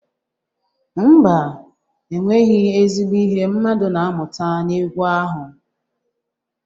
Ḿbà, enweghị ezigbo ihe mmadụ na-amụta n'egwu ahụ.